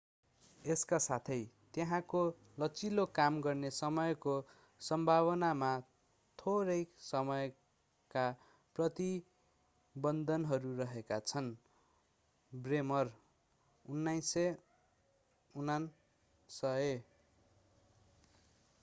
यसका साथै त्यहाँको लचिलो काम गर्ने समयको सम्भावनामा थोरै समयका प्रतिबन्धहरू रहेका छन्। ब्रेमर 1998